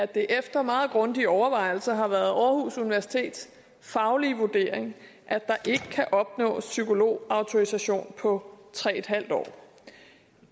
det efter meget grundige overvejelser har været aarhus universitets faglige vurdering at der ikke kan opnås psykologautorisation på tre en halv år